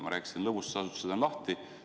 Ma rääkisin, et lõbustusasutused on lahti.